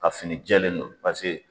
Ka fini jɛlen don paseke